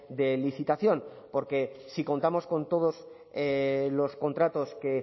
de licitación porque si contamos con todos los contratos que